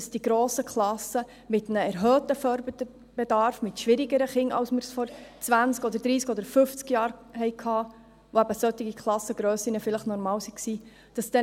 Sie müssen den grossen Klassen mit Kindern mit erhöhtem Förderbedarf, mit schwierigeren Kindern als es vor 20, 30 oder 50 Jahren der Fall war, Rechnung tragen.